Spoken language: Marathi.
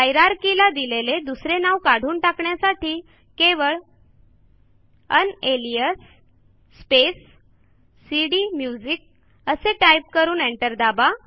हायरार्कीला दिलेले दुसरे नाव काढून टाकण्यासाठी केवळ उनालियास स्पेस सीडीम्युझिक असे टाईप करू एंटर दाबा